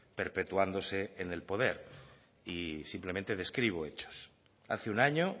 perpetuándose en el poder y simplemente describo hechos hace un año